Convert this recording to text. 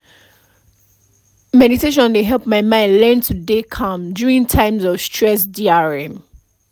meditation dey help my mind learn to dey calm during times of stress drm